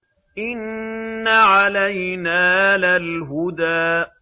إِنَّ عَلَيْنَا لَلْهُدَىٰ